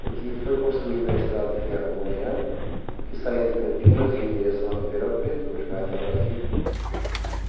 Porque foi construída a estrada de ferro mongeana, que saía de Campinas e ia em direção a Ribeirão Preto, hoje vai até Brasília.